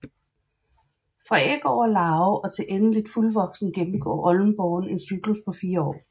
Fra æg over larve og til endeligt fuldvoksen gennemgår oldenborren en cyklus på fire år